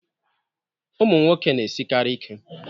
Ụmụ nwoke na-esikarị ike